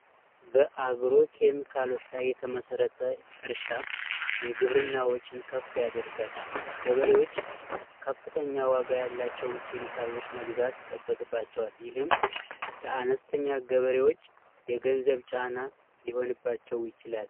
በአግሮ ኬሚካሎች ላይ የተመሰረተ እርሻ የግብርና ወጪን ከፍ ያደርጋል። ገበሬዎች ከፍተኛ ዋጋ ያላቸውን ኬሚካሎች መግዛት ይጠበቅባቸዋል ይህም ለአነስተኛ ገበሬዎች የገንዘብ ጫና ሊሆንባቸው ይችላል።